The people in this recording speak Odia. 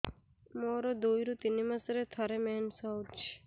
ମୋର ଦୁଇରୁ ତିନି ମାସରେ ଥରେ ମେନ୍ସ ହଉଚି